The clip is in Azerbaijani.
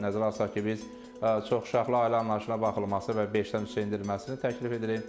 Nəzərə alsaq ki, biz çoxuşaqlı ailə anlayışına baxılması və beşdən üçə endirməsini təklif edirik.